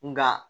Nka